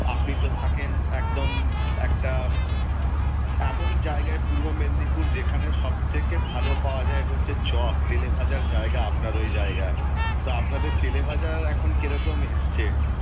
আপনি তো থাকেন একদম একটা উম এমন জায়গায় পূর্ব মেদিনীপুর যেখানে সবথেকে ভালো পাওয়া যায় হচ্ছে চপ, তেলেভাজার জায়গা আপনার ওই জায়গা, তো আপনাদের তেলেভাজার এখন কেরকম এসেছে?